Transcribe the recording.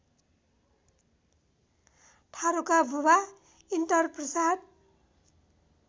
थारुका बुबा इन्टरप्रसाद